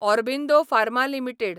Aurobindo pharma limited